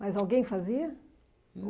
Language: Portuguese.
Mas alguém fazia?